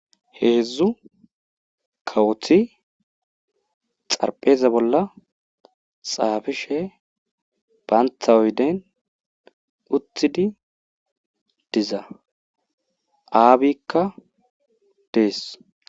Heedzdzu kawoti xarpheza bola xaaphishe bantta oyden uttidi diza aabikka dees.